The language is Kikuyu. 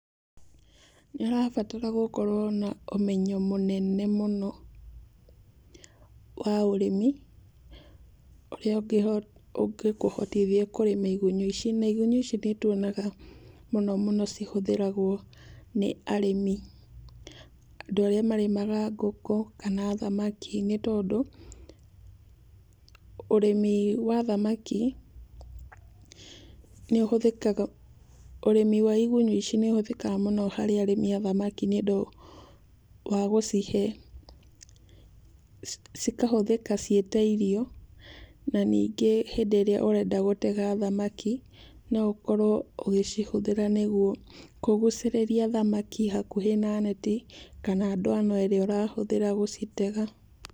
Ndĩrabatara gũkorwo na ũmenyo mũnene mũno wa ũrĩmi, ũrĩa ũngĩkũhotithia kũrĩma igunyũ ici. Na igunyũ ici nĩtuonaga mũno mũno cihũthĩragwo nĩ arĩmi. Andũ arĩa marĩmaga ngũkũ kana thamaki nĩtondũ, ũrĩmi wa thamaki nĩ ũhũthĩkaga, ũrĩmi wa igunyũ ici nĩũhũthĩkaga mũno harĩ arĩmi a thamaki nĩũndũ wa gũcihe, cikahũthĩka ciĩ ta irio, na ningĩ hĩndĩ ĩrĩa ũrenda gũtega thamaki, no ũkorwo ũgĩcihũthĩra nĩguo kũgucĩrĩria thamaki hakuhĩ na neti kana ndwano ĩrĩa ũrahũthĩra gũcitega.